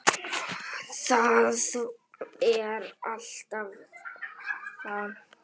Það er alltaf þannig.